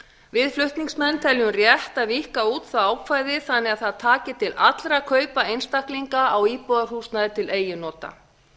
við flutningsmenn teljum rétt að víkka út það ákvæði þannig að það taki til allra kaupa einstaklinga á íbúðarhúsnæði til eigin nota